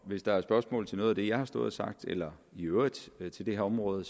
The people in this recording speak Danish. hvis der er spørgsmål til noget af det jeg har stået og sagt eller i øvrigt til det her område